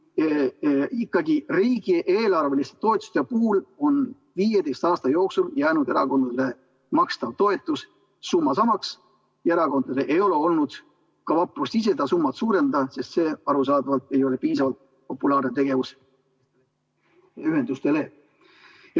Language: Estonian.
Riigieelarveliste toetuste puhul on 15 aasta jooksul jäänud erakondadele makstava toetuse summa samaks ja erakondadel ei ole olnud ka vaprust ise seda summat suurendada, sest see arusaadavalt ei ole piisavalt populaarne tegevus ühendustele.